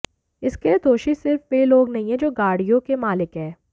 इसके लिए दोषी सिर्फ वे लोग नहीं है जो गाडि़यों के मालिक हैं